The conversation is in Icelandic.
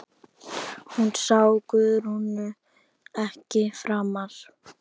Hún sá Guðrúnu ekki framar.